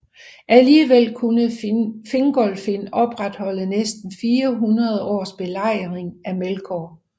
Alligevel kunne Fingolfin opretholde næsten 400 års belejring af Melkor